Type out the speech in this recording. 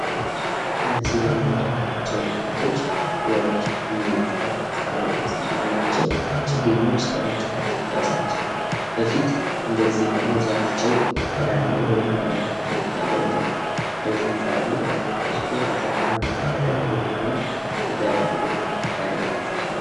እነዚህ የምንመለታቸው እናቶች የችግኝ ተከላ ልማት ላይ የተሰማሩ ናቸው። ችግኞች ለመትከል ከመድረሳቸው በፊት እንደዚህ ሁኖ ዘራቸው ተዳቅሎ የራሳቸውን ዘር ብቻ ይዘው እንደዚህ የፈላሉ። ከዚያ በኋላ ለመተከል በቁ የሆኑት ወደ ለሌላ መተከያ ቦታ ይዘዋወራሉ።